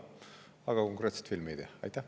Aga konkreetset filmi ei tea.